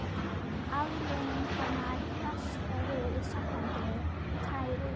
Afleiðingarnar blasa við: sambandið tærist upp.